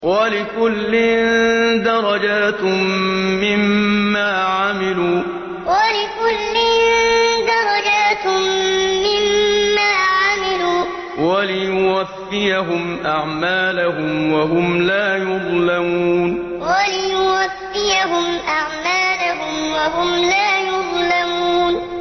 وَلِكُلٍّ دَرَجَاتٌ مِّمَّا عَمِلُوا ۖ وَلِيُوَفِّيَهُمْ أَعْمَالَهُمْ وَهُمْ لَا يُظْلَمُونَ وَلِكُلٍّ دَرَجَاتٌ مِّمَّا عَمِلُوا ۖ وَلِيُوَفِّيَهُمْ أَعْمَالَهُمْ وَهُمْ لَا يُظْلَمُونَ